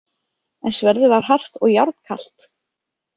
En sverðið var hart og járnkalt.